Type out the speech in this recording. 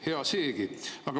Hea seegi.